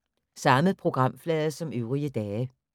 Samme programflade som øvrige dage